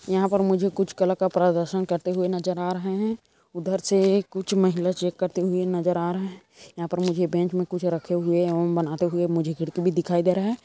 यहाँ पर मुझे कुछ कला का प्रदर्शन करते हुए नजर आ रहे हैं उधर से कुछ महिला चेक करते हुए नजर आ रहे हैं यहाँ पर मुझे बेंच मे कुछ रखे हुए कुछ बनाते हुए मुझे खिड़की भी दिखाई दे रहे हैं।